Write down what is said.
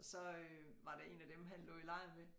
Så øh var der én af dem han lå i lejr med